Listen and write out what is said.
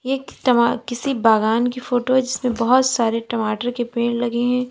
ये तमा किसी बागान की फोटो है जिसमें बहुत सारे टमाटर के पेड़ लगे हैं।